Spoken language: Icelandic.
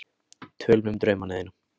Tölum um draumana þína.